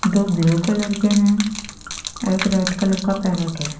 दो blue colour के हैं एक रेड कलर का पैरेट है।